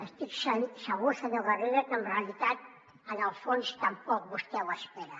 estic segur senyor garriga que en realitat en el fons tampoc vostè ho espera